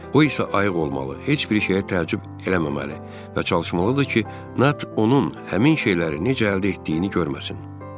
O isə ayıq olmalı, heç bir şeyə təəccüb eləməməli və çalışmalıdır ki, Nat onun həmin şeyləri necə əldə etdiyini görməsin.